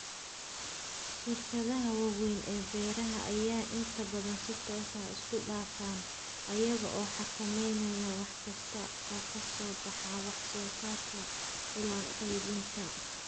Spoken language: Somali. Shirkadaha waaweyn ee beeraha ayaa inta badan si toos ah isku dhafan, iyaga oo xakameynaya wax kasta oo ka soo baxa wax soo saarka ilaa qaybinta.